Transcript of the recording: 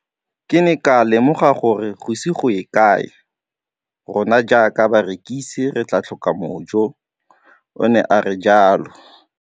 Ke ne ka lemoga gore go ise go ye kae rona jaaka barekise re tla tlhoka mojo, o ne a re jalo.